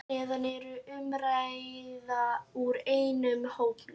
Hér að neðan er umræða úr einum hópnum